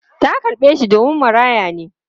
Ta karɓe shi domin maraya ne.